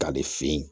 K'ale fe yen